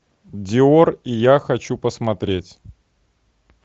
диор и я хочу посмотреть